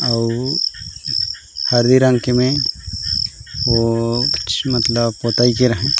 अउ हरे रंग के में वो कुछ मतलब पोतई के र हे .